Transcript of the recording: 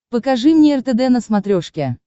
покажи мне ртд на смотрешке